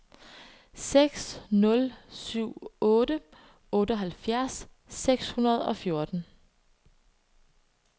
seks nul syv otte otteoghalvfjerds seks hundrede og fjorten